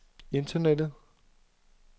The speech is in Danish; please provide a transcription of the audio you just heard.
internettet